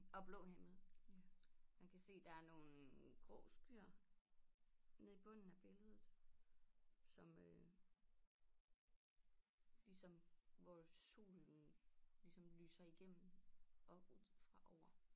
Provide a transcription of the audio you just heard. Og blå himmel man kan se der er nogle grå skyer nede i bunden af billedet som øh ligesom hvor solen ligesom lyser igennem og ud fra ovre